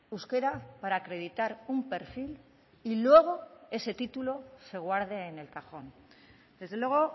euskera para acreditar un perfil y luego ese título se guarde en el cajón desde luego